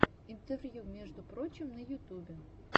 интервью между прочим на ютубе